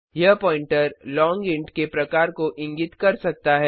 यह pointer long int के प्रकार को इंगित कर सकता है